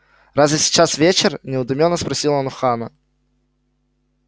разве сейчас вечер недоумённо спросил он у хана